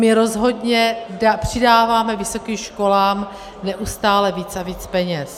My rozhodně přidáváme vysokým školám neustále víc a víc peněz.